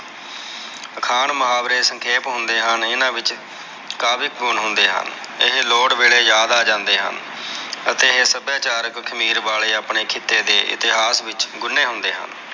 ਅਖਾਣ ਮੁਹਾਵਰੇ ਸੰਖੇਪ ਹੁੰਦੇ ਹਨ ਇਹਨਾਂ ਵਿਚ ਕਾਵਿਕ ਗੁਣ ਹੁੰਦੇ ਹਨ ਇਹ ਲੋੜ ਵੇਲੇ ਯਾਦ ਆਜਾਂਦੇ ਹਨ ਅਤੇ ਇਹ ਸਭਾਅਚਰਕ ਖ਼ਮੀਰ ਵਾਲੇ ਖਿੱਤੇ ਦੇ ਇਤਿਹਾਸ ਵਿਚ ਗੁਣੇ ਹੁੰਦੇ ਹਨ।